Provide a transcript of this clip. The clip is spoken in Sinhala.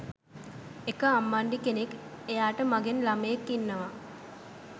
එක අම්මණ්ඩි කෙනෙක් එයාට මගෙන් ළමයෙක් ඉන්නවා